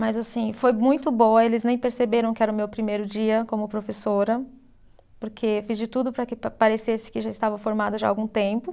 Mas assim, foi muito boa, eles nem perceberam que era o meu primeiro dia como professora, porque fiz de tudo para que parecesse que já estava formada já há algum tempo.